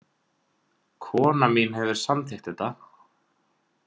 Konan mín hefur samþykkt þetta